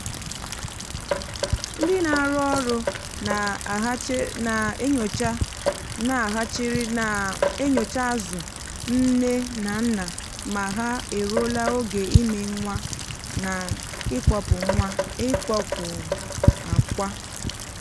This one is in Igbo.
ndị na-arụ ọrụ na hatcheri na-enyocha na hatcheri na-enyocha azụ nne na nna ma ha eruola oge ime nwa na ịkpọpụ akwa.